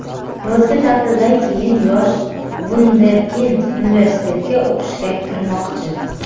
Yozgi ta’tildan keyin yosh vunderkind universitetga o‘qishga kirmoqchi.